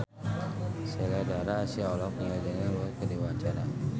Sheila Dara Aisha olohok ningali Daniel Wu keur diwawancara